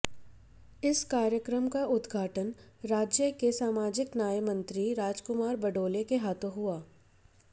इस कार्यक्रम का उदघाटन राज्य के सामाजिक न्यायमंत्री राजकुमार बडोले के हाथों हुआ